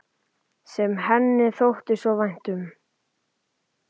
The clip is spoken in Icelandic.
Sem henni þótti þó svo vænt um.